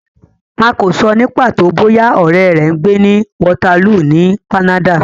A kò sọ ní pàtó bóyá ọ̀rẹ́ rẹ ń gbé ní Waterloo ní Canada.